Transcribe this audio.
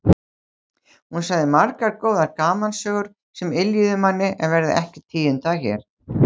Hún sagði margar góðar gamansögur sem yljuðu manni en verða ekki tíundaðar hér.